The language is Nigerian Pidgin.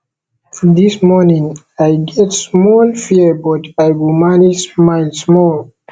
dis morning i get small fear but i go manage smile small